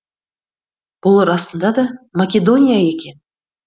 бұл расында да македония екен